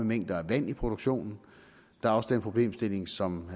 mængder af vand i produktionen der er også den problemstilling som